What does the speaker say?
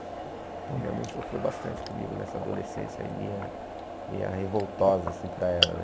Então minha mãe sofreu bastante comigo nessa adolescência, aí minha minha revoltosa assim para ela, né?